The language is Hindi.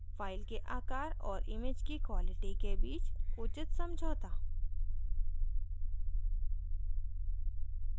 फ़ाइल के आकार और image की quality के बीच उचित समझौता